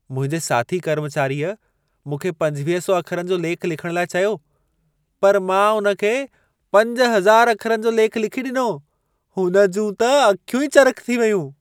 मुंहिंजे साथी कर्मचारीअ मूंखे 2500 अखरनि जो लेख लिखण लाइ चयो, पर मां उन खे 5000 अखरनि जो लेख लिखी ॾिनो। हुन जूं त अखियूं ई चरिख़ थी वयूं।